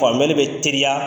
Faamuyali bɛ teliya